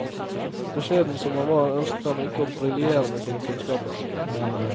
Beskjeden som han var, ønsket han ikke å briljere med sine kunnskaper.